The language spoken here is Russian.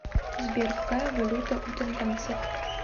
сбер какая валюта у тонганцев